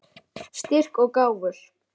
Styrk og gáfur.